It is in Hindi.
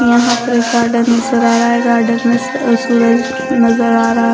कहां पर गार्डन नजर आ रहा है गार्डन में नजर आ रहा--